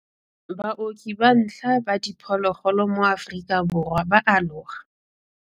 Baoki ba ntlha ba diphologolo mo Aforika Borwa ba a aloga.